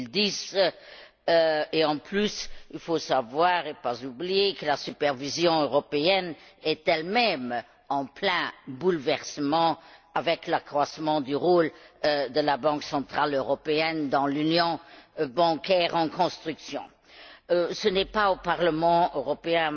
2010. De plus, il faut savoir et ne pas oublier que la supervision européenne est elle même en plein bouleversement avec l'accroissement du rôle de la Banque centrale européenne dans l'union bancaire en construction. À mon avis, ce n'est pas au Parlement européen,